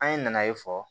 An ye na ye fɔlɔ